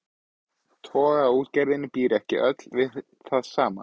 Togaraútgerðin býr ekki öll við það sama.